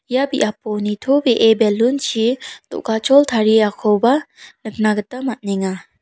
ia biapo nitobee belun chi do·gachol tariakoba nikna gita man·enga.